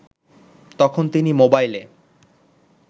তখন তিনি মোবাইলে